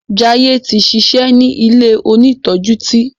Jaiye tí ṣiṣẹ ní ilẹ òní tọjú tí.